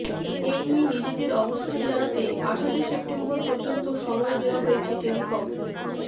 এ নিয়ে নিজেদের অবস্থান জানাতে আঠাশে সেপ্টেম্বর পর্যন্ত সময় দেওয়া হয়েছে টেলিকম